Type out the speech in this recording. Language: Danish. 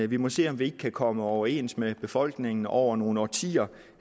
vi må se om vi ikke kan komme overens med befolkningen over nogle årtier